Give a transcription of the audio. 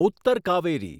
Uttar Kaveri